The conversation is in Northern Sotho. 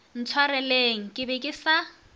ntshwareleng ke be ke sa